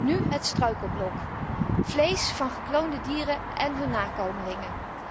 Nu het struikelblok vlees van gekloonde dieren en hun nakomelingen.